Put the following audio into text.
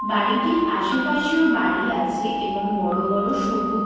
বাড়িটির আশেপাশেও বাড়ি আছে এবং বড় বড় সবুজ--